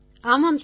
ஆமாம் சார்